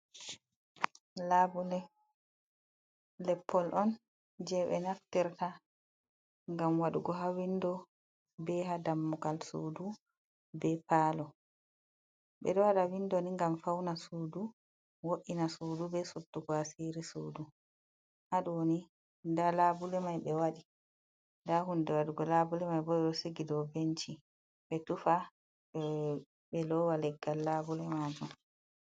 Labule leppol on je ɓe naftirta ngam waɗugo ha windo be ha dammugal sudu, be palo, ɓeɗo waɗa windo ni ngam fauna sudu, wo’ina sudu, be sudugo a siri sudu. Ha ɗoni nda labule mai ɓe waɗi, nda hunde waɗugo labule mai bo do sigi dou benci ɓe tufa ɓe lowa leggal labule majun.